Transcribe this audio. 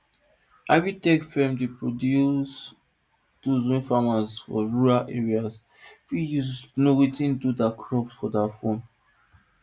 agritech firms dey produce tools wey farmers for rural areas fit use know wetin do their crops for their phones